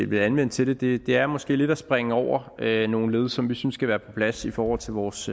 vil anvende til det det er måske lidt at springe over nogle led som vi synes skal være på plads i forhold til vores